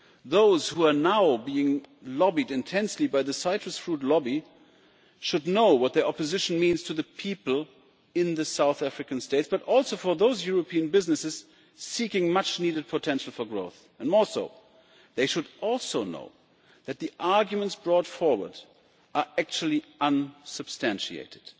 Those who are now being lobbied intensely by the citrus fruit lobby should know what the opposition means to the people in the South African States, but also for those European businesses seeking much needed potential for growth. Moreover, they should also know that the arguments brought forward are actually unsubstantiated